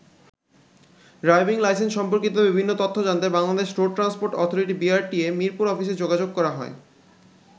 Driving licence সম্পর্কিত বিভিন্ন তথ্য জানতে Bangladesh road transport authority BRTA ,Mirpur অফিসে যোগাযোগ করা হয়।